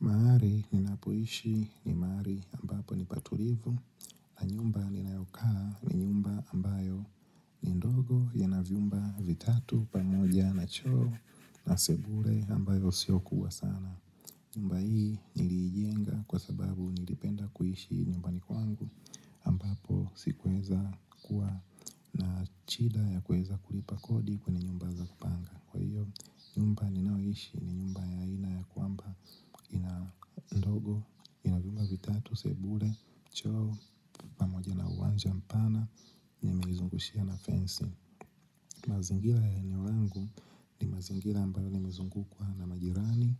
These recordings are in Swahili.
Mahali ninapoishi ni mahali ambapo ni patulivu na nyumba ninayokaa ni nyumba ambayo ni ndogo ina vyumba vitatu pamoja na choo na sebule ambayo sio kubwa sana. Mahali ninapoishi ni mahali ambapo ni patulivu na nyumba ninayokaa ni nyumba ambayo ni ndogo ina vyumba vitatu pamoja na choo na sebule ambayo sio kubwa sana. Kwa hiyo, nyumba ninayoishi ni nyumba ya ina ya kwamba ina ndogo, ina vyumba vitatu, sebule, choo, pamoja na uwanja mpana, imeizungushiwa na fencing. Mazingira ya eneo langu ni mazingira ambayo nimezungukwa na majirani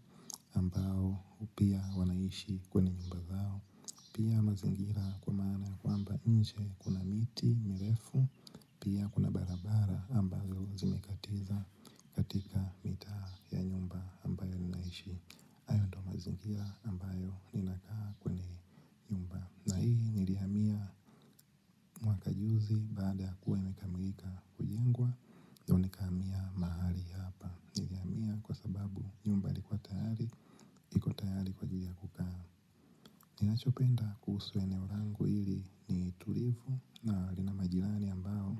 ambayo pia wanaishi kwenye nyumba zao. Pia mazingira kwa maana kwamba nje, kuna miti, mirefu, pia kuna barabara ambazo zimekatiza katika mitaa ya nyumba ambayo ninaishi, hayo ndio mazingira ambayo ninakaa hapa nilihamia kwa sababu nyumba ilikuwa tayari ya kukaa. Ninachopenda kuhusu eneo langu hili ni tulivu na nina majirani ambao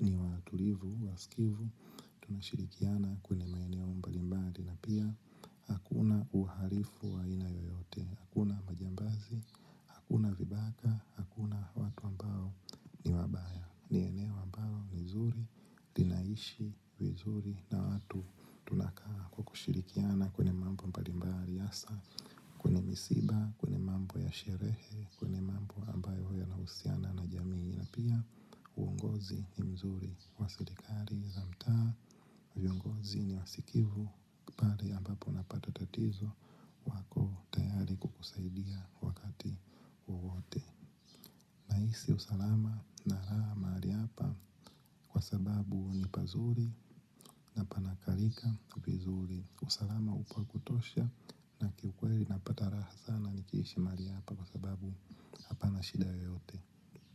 ni watulivu wasikivu tunashirikiana kwa aina mbalimbali. Na pia hakuna uhalifu wa aina yoyote. Hakuna majambazi hakuna vibaka, hakuna watu ambao ni wabaya. Ni eneo ambalo ni nzuri. Unaishi vizuri na watu tunashirikiana kwenye mambo mbali mbali hasa kwenye misiba, kwenye sherehe na pia, uongozi mzuri wa serikali za mtaa, viongozi ni wasikivu na pia pale ambapo unapata tatizo wako tayari kukusaidia wakati wowote. Nahisi usalama na raha mahali hapa kwa sababu ni pazuri na panaklika na pana usalama wa kutosha. Kwa kweli, apata raha sana nikiishi mahali hapa kwa sababu hapana shida yeyote.